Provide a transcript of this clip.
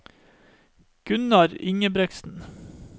Gunnar Ingebretsen